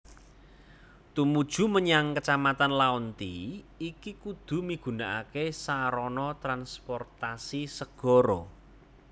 Tumuju mmenyang kecamatan Laonti iki kudu migunakaké sarana transportasi segara